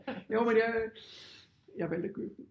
Jo men jeg jeg valgte at købe den